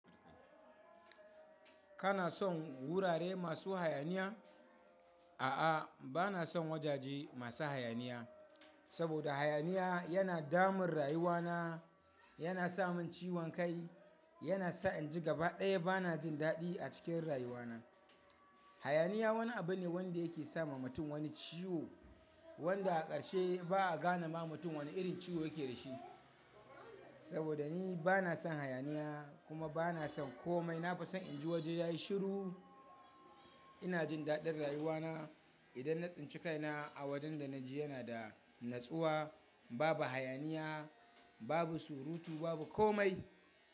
Kana son wurare masu hayaniya? A'a, ba na son wajaje masu hayaniya, saboda hayaniya yana damun rayuwana, yana sa min ciwon kai, yana sa in ji gaba ɗaya ba na jin daɗi a cikin rayuwana. Hayaniya wani abu ne wanda yake sama mutum wani ciwo wanda a ƙarshe ba a gane ma mutum wani irin ciwo yake da shi. Saboda ni ba na son hayaniya kuma ba na son komai. Na fi son in ji waje yayi shiru. Ina jin daɗin rayuwana idan na tsince kaina a wajen da na je yana da natsuwa, babu hayaniya, babu surutu, babu komai.